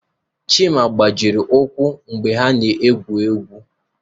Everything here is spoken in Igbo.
Chima gbajiri ụkwụ ebe ha egwu egwu